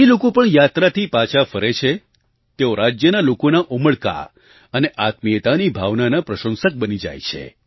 જે લોકો પણ યાત્રાથી પાછા ફરે છે તેઓ રાજ્યના લોકોના ઉમળકા અને આત્મીયતાની ભાવનાના પ્રશંસક બની જાય છે